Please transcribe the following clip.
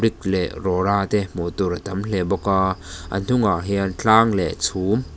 leh rawra te hmuh tur a tam hle bawk a a hnungah hian tlang leh chhum--